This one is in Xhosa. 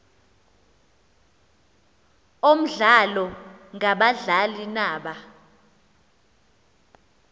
omdlalo ngabadlali naba